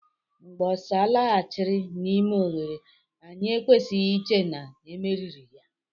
Mgbe osa laghachiri n'ime oghere, anyị ekwesịghị iche na e meriri ya.